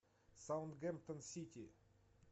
саутгемптон сити